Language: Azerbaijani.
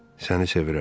Səni sevirəm.